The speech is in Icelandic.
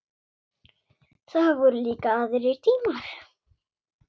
Það voru líka aðrir tímar.